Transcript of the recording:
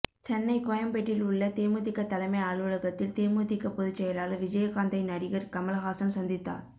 சென்னை கோயம்பேட்டில் உள்ள தேமுதிக தலைமை அலுவலகத்தில் தேமுதிக பொதுச்செயலாளர் விஜயகாந்தை நடிகர் கமல்ஹாசன் சந்தித்தார்